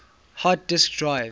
hard disk drives